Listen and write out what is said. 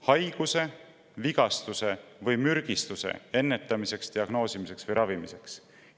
Haiguse, vigastuse või mürgistuse ennetamiseks, diagnoosimiseks ja ravimiseks!